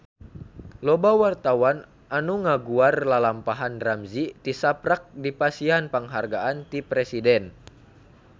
Loba wartawan anu ngaguar lalampahan Ramzy tisaprak dipasihan panghargaan ti Presiden